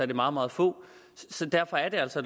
det meget meget få så derfor er det altså